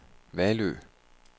Vallø